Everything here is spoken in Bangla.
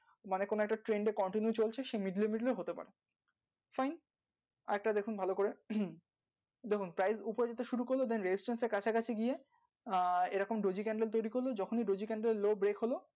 মানে একটা similar, continue করেছে ঠিক আছে আরেকটা নেবো prime বিকেলে red, thing, start করতে গিয়ে